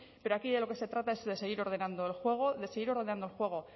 pero aquí de lo que se trata es de seguir ordenando el juego de seguir ordenando el juego